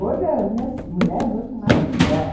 Hoje, as minhas mulheres hoje são maravilhosas.